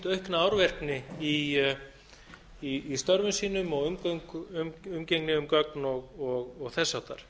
aukna árvekni í störfum sínum og umgengni um gögn og þess háttar